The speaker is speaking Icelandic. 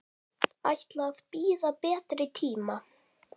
Ætla að bíða betri tíma.